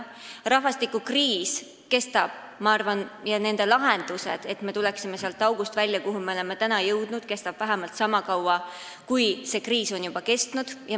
Ma arvan, et rahvastikukriis ja nende lahenduste otsimine, et me tuleksime välja sealt august, kuhu me oleme tänaseks jõudnud, kestab veel vähemalt sama kaua, kui see kriis on juba kestnud.